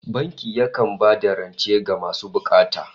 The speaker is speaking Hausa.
Banki yakan ba da rance ga masu bukata